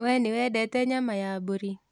We nĩwendete nyama ya mbũri?